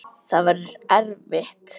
Það verður erfitt.